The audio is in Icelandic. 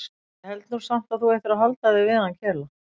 En ég held nú samt að þú ættir að halda þig við hann Kela.